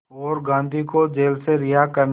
और गांधी को जेल से रिहा करने